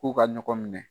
K'u ka ɲɔgɔn minɛ